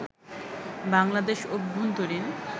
বাংলাদেশ অভ্যন্তরীন